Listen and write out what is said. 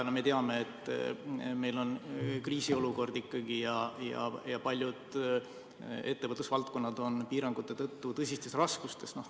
Me teame, et meil on kriisiolukord ja paljud ettevõtlusvaldkonnad on piirangute tõttu tõsistes raskustes.